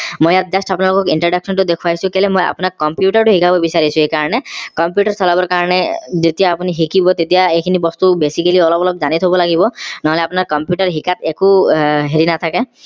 মই ইয়াত just আপোনালোকক introduction টো দেখুৱাইছো কেলে মই আপোনাক computer টো শিকাব বিচাৰিছো সেইকাৰনে computer চলাব কাৰণে যেতিয়া আপোনি শিকিব তেতিয়া এইখিনি বস্তু basically অলপ অলপ জানি থব লাগিব নহলে আপোনাৰ computer শিকাত একো হেৰি নাথাকে